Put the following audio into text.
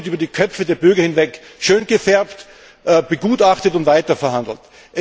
Dennoch wird über die Köpfe der Bürger hinweg schöngefärbt, begutachtet und weiter verhandelt.